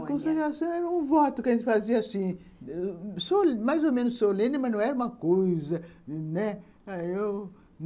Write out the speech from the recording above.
A consagração era um voto que a gente fazia assim, mais ou menos solene, mas não era uma coisa, né? ãh, eu...